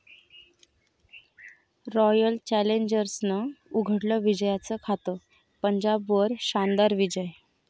royal चॅलेंजर्सनं उघडलं विजयाचं खातं, पंजाबवर शानदार विजय